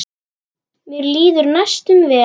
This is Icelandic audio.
Mér líður næstum vel.